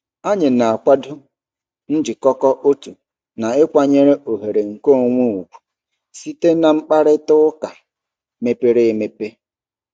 Anyị na-akwado njikọkọ otu na ịkwanyere oghere nkeonwe ugwu site na mkparịta ụka mepere emepe.